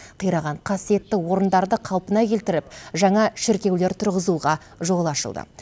қираған қасиетті орындарды қалпына келтіріп жаңа шіркеулер тұрғызуға жол ашылды